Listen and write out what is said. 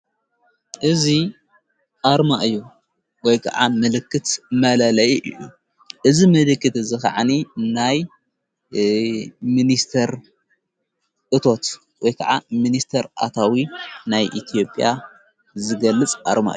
እዙ ኣርማ እዩ ወይ ከዓ ምልክት መለለይ እዩ እዝ ምልክት ዝኸዓኒ ናይ ምንስተር እቶት ወይ ከዓ ምንስተር ኣታዊ ናይ ኢቲዮጴያ ዝገልጽ ኣርማ እዩ።